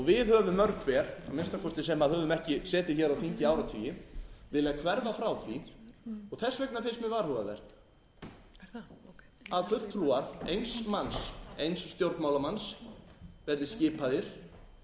við höfum mörg hver að minnsta kosti sem höfum ekki setið hér á þingi í áratugi viljað hverfa frá því og þess vegna finnst mér varhugavert að fulltrúar eins manns eins stjórnmálamanns verði skipaðir í